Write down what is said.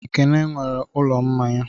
Ekene nwere ụlọ mmanya.